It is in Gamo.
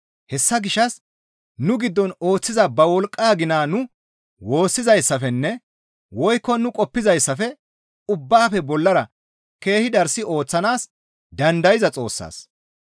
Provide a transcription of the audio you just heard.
Hessa gishshas nu giddon ooththiza ba wolqqaa gina nu woossizayssafenne woykko nu qoppizayssafe ubbaafe bollara keehi darssi ooththanaas dandayza Xoossaas,